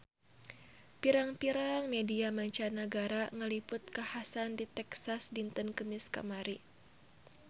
Pirang-pirang media mancanagara ngaliput kakhasan di Texas dinten Kemis kamari